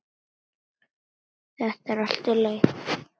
Þetta er allt í lagi.